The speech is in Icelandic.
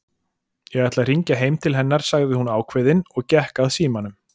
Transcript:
Ég ætla að hringja heim til hennar sagði hún ákveðin og gekk að símanum.